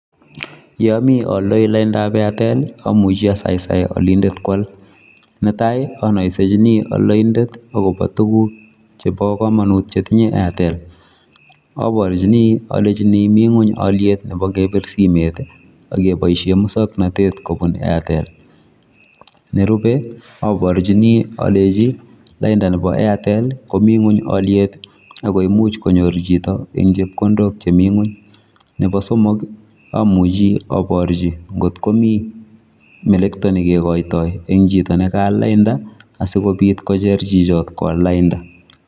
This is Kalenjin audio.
Ye amii ayaldai lainit ab [Airtel] amuchei asaisai alindet koyaal netai netai anaisenjini alindet konai agobo tuguuk chebo kamanut che tinyei [Airtel] abarchini alejini Mii ngweeny aliet nebo kebiir simeet ii ak eng musangnatet kebuun Airtel, nerube aborjini alechinlaindaa nebo Airtel komii ngweeny aliet ago imuuch konyoor chitoo eng chepkondook che Mii ngweeny, nebo somok ii amuchi aborjii koot ko Mii melektoi ne kikaitoi eng chitoo ne kayaal laindaa asikobiit kocheer chichaat koyaal laindaa.